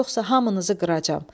Yoxsa hamınızı qıracam.